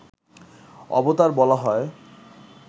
অবতার বলা হয়